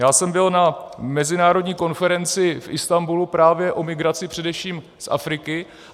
Já jsem byl na mezinárodní konferenci v Istanbulu právě o migraci především z Afriky.